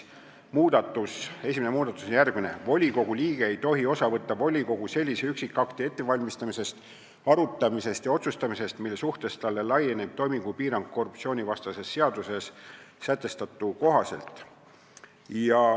Esimene muudatus on järgmine: volikogu liige ei tohi osa võtta volikogu sellise üksikakti ettevalmistamisest, arutamisest ja otsustamisest, mille suhtes talle laieneb toimingupiirang korruptsioonivastases seaduses sätestatu kohaselt.